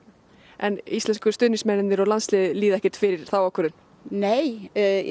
en íslensku stuðningsmennirnir líða ekkert fyrir þá ákvörðun nei